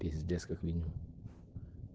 пиздец как минимум